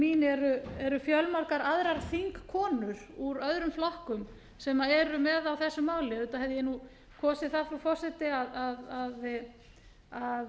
mín eru fjölmargar aðrar þingkonur úr öðrum flokkum sem eru með á þessu máli auðvitað hefði ég kosið það frú forseti að